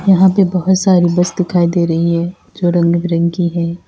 यहां पे बहोत सारी बस दिखाई दे रही है जो रंग बिरंगी है।